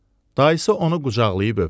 Dayısı onu qucaqlayıb öpdü.